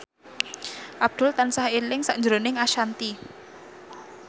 Abdul tansah eling sakjroning Ashanti